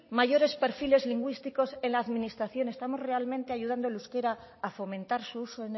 mayores perfiles lingüísticos en la administración estamos realmente ayudando al euskera a fomentar su uso